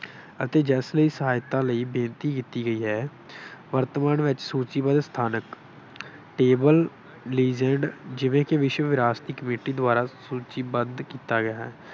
ਅਤੇ ਜਿਸ ਲਈ ਸਹਾਇਤਾ ਲਈ ਬੇਨਤੀ ਕੀਤੀ ਗਈ ਹੈ। ਵਰਤਮਾਨ ਵਿੱਚ ਸੂਚੀਬੱਧ ਸਥਾਨਕ ਜਿਵੇਂ ਕਿ ਵਿਸ਼ਵ ਵਿਰਾਸ਼ਤੀ ਕਮੇਟੀ ਦੁਆਰਾ ਸੂਚੀਬੱਧ ਕੀਤਾ ਗਿਆ ਹੈ।